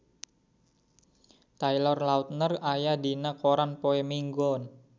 Taylor Lautner aya dina koran poe Minggon